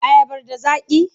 Ayabar da zaƙi?